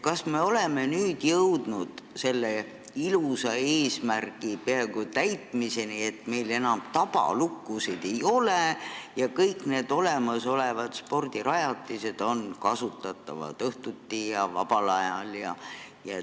Kas me oleme jõudnud peaaegu selle ilusa eesmärgi täitmiseni, et meil enam tabalukkusid ei ole ja kõik olemasolevad spordirajatised on kasutatavad õhtuti ja vabal ajal?